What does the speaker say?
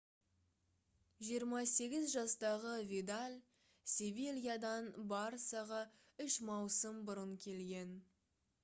28 жастағы видаль «севильядан» «барсаға» үш маусым бұрын келген